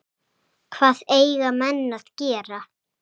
Hvað eiga menn að gera?